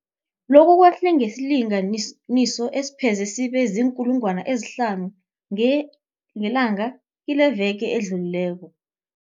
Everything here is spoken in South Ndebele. Lokhu kwehle ngesilinganiso esipheze sibe ziinkulungwana ezihlanu ngelanga kileveke edlulileko.